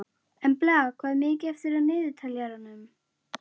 Embla, hvað er mikið eftir af niðurteljaranum?